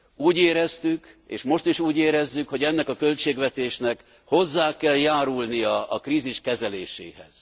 Úgy éreztük, és most is úgy érezzük, hogy ennek a költségvetésnek hozzá kell járulnia a krízis kezeléséhez.